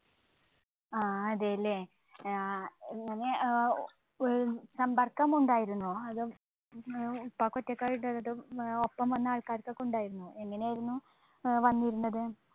ആ അതെ ല്ലേ. ആ എങ്ങനെ ഓ സമ്പർക്കം ഉണ്ടായിരുന്നോ അതോ ഉം ഉപ്പാക്ക് ഒറ്റക്കായിട്ട് അതോ ഒപ്പം വന്ന ആൾക്കാർക്കൊക്കെ ഉണ്ടായിരുന്നോ. എങ്ങനെയായിരുന്നു ഏർ വന്നിരുന്നത്